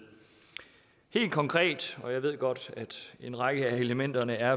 helt konkret og jeg ved godt at en række af elementerne er